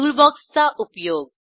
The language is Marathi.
टूलबॉक्सचा उपयोग